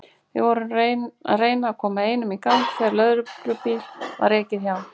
Við vorum að reyna að koma einum í gang þegar lögreglubíl var ekið hjá.